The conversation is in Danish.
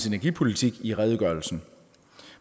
energipolitik i redegørelsen